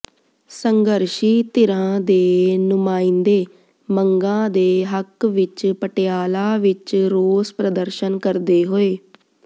ਸੰਘਰਸ਼ੀ ਧਿਰਾਂ ਦੇ ਨੁਮਾਇੰਦੇ ਮੰਗਾਂ ਦੇ ਹੱਕ ਵਿੱਚ ਪਟਿਆਲਾ ਵਿੱਚ ਰੋਸ ਪ੍ਰਦਰਸ਼ਨ ਕਰਦੇ ਹੋਏ